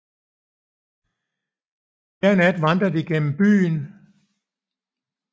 Hver nat vandrer de gennem byen